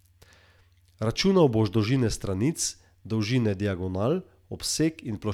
Računal boš dolžine stranic, dolžine diagonal, obseg in ploščino deltoida.